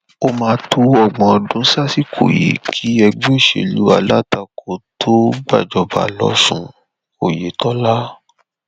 ó máa tó ọgbọn ọdún sásìkò yìí kí ẹgbẹ òṣèlú alátakò tóo gbàjọba losùn oyetola